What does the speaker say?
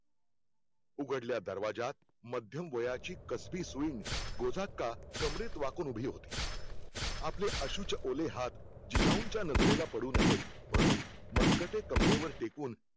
उघडल्या दरवाज्यात मध्यमवयाची कसबी सुईण, गोदाक्का कमरेत वाकून उभी होती. आपले अश्रूचे ओले हाथ जिजाऊनच्या नजरेला पडू नयेत म्हणून, मनगटे कमरेवर टेकून